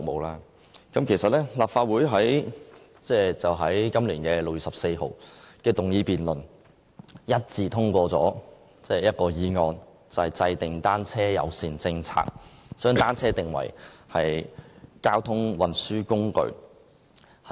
立法會在今年6月14日的議案辯論一致通過一項議案，就是制訂單車友善政策，將單車訂為交通運輸工具。